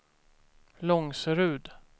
Långserud